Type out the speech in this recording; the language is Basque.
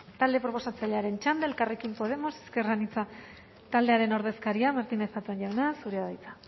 talde proposatzailearen txanda elkarrekin podemos ezker anitza taldearen ordezkaria martínez zatón jauna zurea da hitza